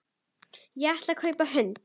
Ég ætlaði að kaupa hund.